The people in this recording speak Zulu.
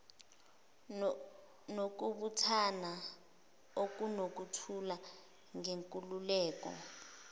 nokubuthana okunokuthula ngenkululeko